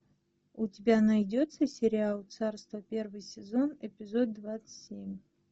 у тебя найдется сериал царство первый сезон эпизод двадцать семь